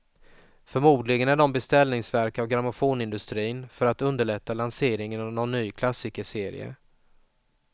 Förmodligen är de beställningsverk av grammofonindustrin, för att underlätta lanseringen av någon ny klassikerserie.